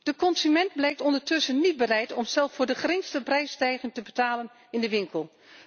De consument blijkt ondertussen niet bereid om zelf voor de geringste prijsstijging te betalen in de winkel.